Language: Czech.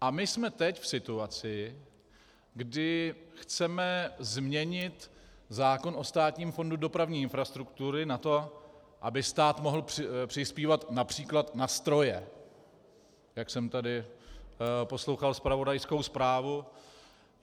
A my jsme teď v situaci, kdy chceme změnit zákon o Státním fondu dopravní infrastruktury na to, aby stát mohl přispívat například na stroje, jak jsem tady poslouchal zpravodajskou zprávu.